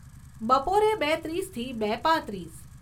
બપોરે, બે ત્રીસથી બે પાંત્રીસ